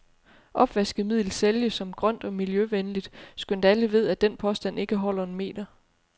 Opvaskemiddel sælges som grønt og miljøvenligt, skønt alle ved, at den påstand ikke holder en meter.